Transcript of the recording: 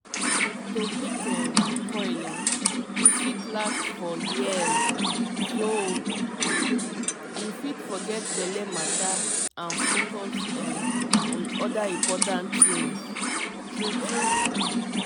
we dey talk coil na low main ten ancefor correct protection wey coded. u know na ah um